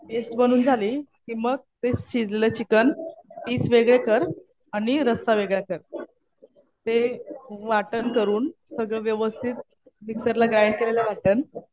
Paste बनवून झाली कि मग ते शिजलेलं चिकन पीस वेगळे कर आणि रस्सा वेगळा कर. ते वाटण करून सगळं व्यवस्थित मिक्सरला ग्राइंड केलेलं वाटण